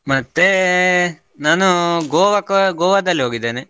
ಮತ್ತೆ ನಾನು Goa ಕ~ Goa ದಲ್ಲಿ ಹೋಗಿದ್ದೇನೆ.